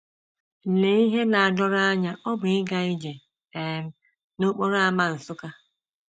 LEE ihe na - adọrọ anya ọ bụ ịga ije um n’okporo ámá Nsukka!